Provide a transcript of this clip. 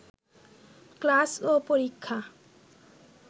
class ও পরীক্ষা